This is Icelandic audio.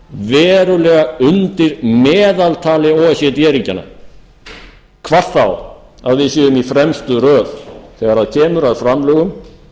undir meðaltali o e c d ríkjanna hvar þá að við séum í fremstu röð þegar kemur að framlögum